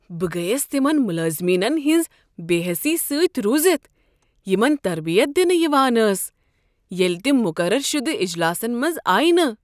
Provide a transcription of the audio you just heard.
بہٕ گٔیس تمن ملٲزمیٖنن ہٕنٛز بےٚ حٮ۪سی سۭتۍ روٗزتھ یمن تربیت دنہٕ یوان ٲس ییٚلہٕ تم مقرر شدٕ اجلاسن منٛز آیہ نہٕ۔